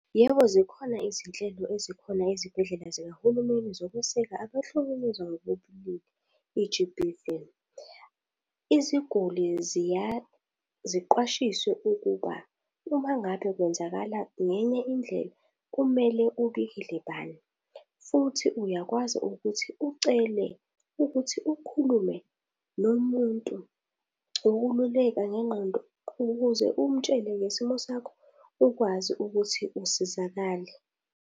Yebo, zikhona izinhlelo ezikhona ezibhedlela zikahulumeni zokweseka abahlukumezwa ngokobulili i-G_B_V. Iziguli ziya ziqwashiswe ukuba, uma ngabe kwenzakala ngenye indlela kumele ubulili bani futhi uyakwazi ukuthi ucele ukuthi ukhulume nomuntu ukululekwa ngengqondo ukuze umutshele ngesimo sakho ukwazi ukuthi usizakale.